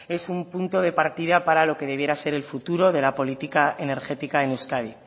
es un punto de partida para lo que debiera ser el futuro de la política energética en euskadi